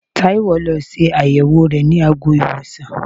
Taiwo lọ ṣe àyẹ̀wò rẹ ní àgọ́-ìwòsàn.